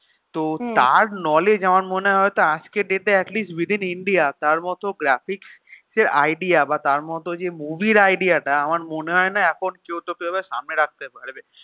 তো তার knowledge মনে হয় তো আজকে date এ atleast within ইন্ডিয়া তার মত graphics এর idea বা তার মত যে movie এর idea তা আমার মনে হয়না এখন সামনে রাখতে পারবে